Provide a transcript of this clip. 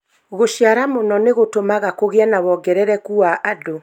Gũriara mũno nĩ gũtũmaga kũgĩe na wongerereku wa andũ